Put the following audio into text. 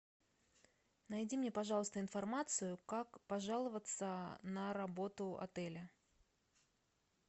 найди мне пожалуйста информацию как пожаловаться на работу отеля